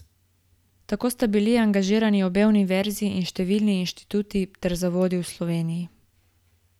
Tako sta bili angažirani obe univerzi in številni inštituti ter zavodi v Sloveniji.